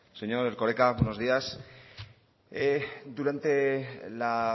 señor erkoreka buenos días durante la